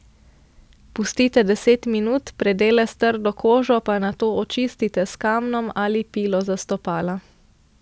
Pustite deset minut, predele s trdo kožo pa nato očistite s kamnom ali pilo za stopala.